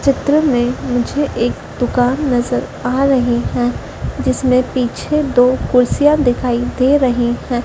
चित्र में मुझे एक दुकान नजर आ रहे हैं जिसमें पीछे दो कुर्सियां दिखाई दे रही हैं।